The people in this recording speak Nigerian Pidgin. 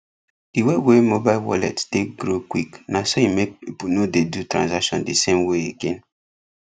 the way wey mobile wallets take grow quick naso e make people no dey do transaction the same way again